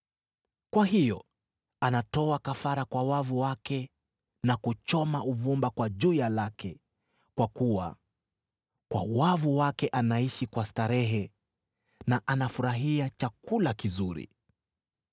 Kwa hiyo anatoa kafara kwa wavu wake, na kuchoma uvumba kwa juya lake, kwa kuwa kwa wavu wake anaishi kwa starehe, na anafurahia chakula kizuri.